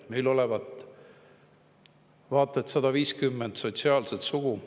Meil olevat vaata et 150 sotsiaalset sugu.